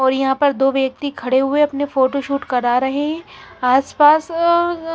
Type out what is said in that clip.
और यहां पर दो व्यक्ति खड़े हुए अपने फोटो शूट करा रहे आस पास अं--